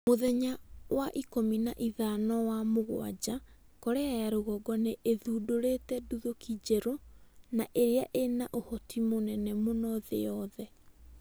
Mũthenya ikũmi na ithano wa Mugwanja, Korea ya rũgongo nĩ ĩthundũrite nduthũki njerũ na ĩria ĩna ũhoti mũnene mũno thĩ yothe